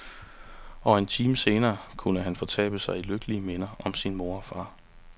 Og en time senere kunne han fortabe sig i lykkelige minder om sin mor og far.